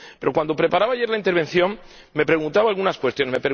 Pero, cuando preparaba ayer la intervención, me preguntaba algunas cuestiones.